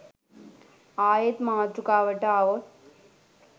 ආයෙත් මාතෘකාවට ආවොත්